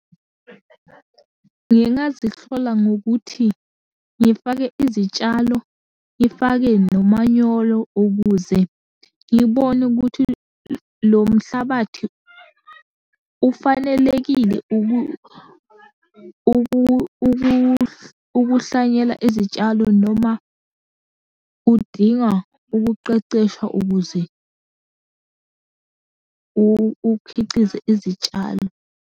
Ngingazihlola ngokuthi, ngifake izitshalo, ngifake nomanyolo ukuze ngibone ukuthi lo mhlabathi ufanelekile ukuhlanyela izitshalo noma udinga ukuqeqeshwa ukuze ukhiqize izitshalo.